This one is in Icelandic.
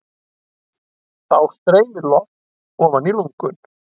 Þá streymir loft ofan í lungun.